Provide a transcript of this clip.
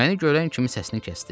Məni görən kimi səsini kəsdi.